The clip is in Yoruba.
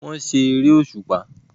Wọ́n ṣe eré òṣùpá